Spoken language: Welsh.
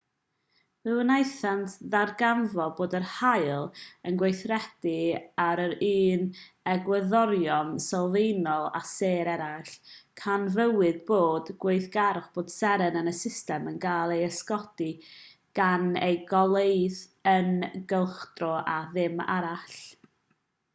fe wnaethant ddarganfod bod yr haul yn gweithredu ar yr un egwyddorion sylfaenol â sêr eraill canfuwyd bod gweithgarwch pob seren yn y system yn cael ei ysgogi gan eu goleuedd eu cylchdro a dim arall